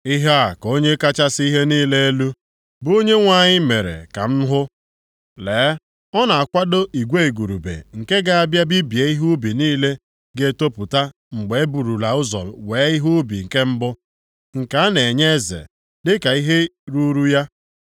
Ihe a ka Onye kachasị ihe niile elu, bụ Onyenwe anyị mere ka m hụ. Lee, ọ na-akwado igwe igurube nke ga-abịa bibie ihe ubi niile ga-etopụta mgbe e burula ụzọ wee ihe ubi nke mbụ nke a na-enye eze, dịka ihe ruuru ya.